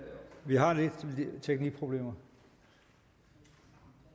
er problemer og